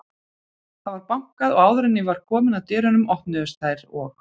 Það var bankað og áður en ég var komin að dyrunum, opnuðust þær og